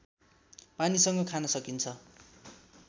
पानीसँग खान सकिन्छ